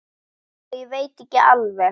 Já, ég veit ekki alveg.